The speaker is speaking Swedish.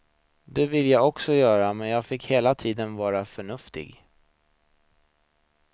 Det ville jag också göra men jag fick hela tiden vara förnuftig.